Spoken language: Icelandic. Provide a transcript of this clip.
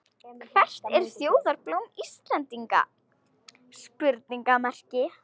Hvert er þjóðarblóm Íslendinga?